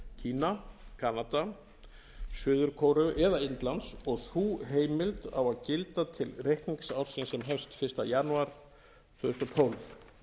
kína kanada suður kóreu eða indlands og sú heimild á að gilda til reikningsársins sem hefst fyrsta janúar tvö þúsund og tólf